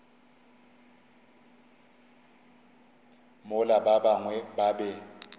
mola ba bangwe ba be